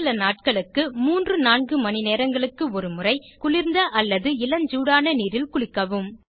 முதல் சில நாட்களுக்கு 3 4 மணிநேரங்களுக்கு ஒருமுறை குளிர்ந்த அல்லது இளஞ்சூடான நீரில் குளிக்கவும்